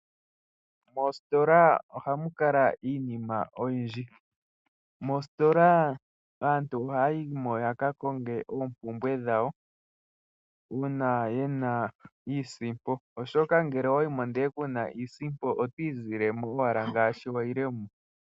Oositola ohamu kala iinima oyindji. Moositola aantu ohaya yimo yaka konge oompumbwe dhawo uuna yena iisimpo, oshoka ngele owa yimo ndele kuna iisimpo oto izile mo owala ngaashi wa yile mo.